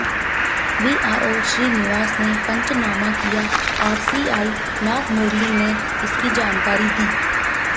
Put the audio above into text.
VRO Srinivas ने पंचनामा किया और सीआई नागमुरली ने इसकी जानकारी दी